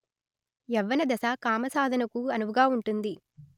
యవ్వనదశ కామసాధనకు అనువుగా ఉంటుంది